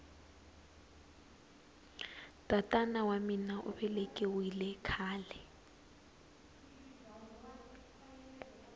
tatara wa mina uvelekiwile khale